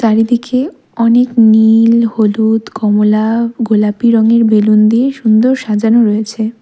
চারিদিকে অনেক নীল হলুদ কমলা গোলাপি রঙের বেলুন দিয়ে সুন্দর সাজানো রয়েছে।